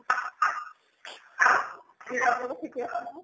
ঠিকে আছে নে?